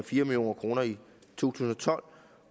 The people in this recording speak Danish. fire million kroner i to tusind og tolv